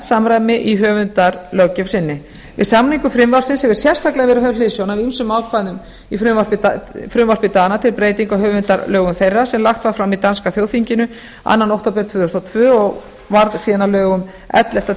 samræmi í höfundalöggjöf sinni við samningu frumvarpsins hefur sérstaklega verið höfð hliðsjón af ýmsum ákvæðum í frumvarpi dana til breytinga á höfundalögum þeirra sem lagt var fram í danska þjóðþinginu annars október tvö þúsund og tvö og varð síðan að lögum ellefta